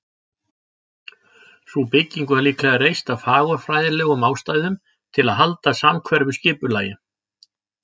Sú bygging var líklega reist af fagurfræðilegum ástæðum, til að halda samhverfu skipulagi.